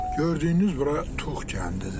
Gördüyünüz bura Tuğ kəndidir.